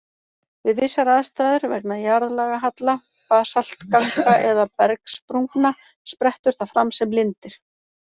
Við vissar aðstæður, vegna jarðlagahalla, basaltganga eða bergsprungna, sprettur það fram sem lindir.